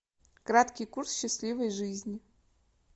краткий курс счастливой жизни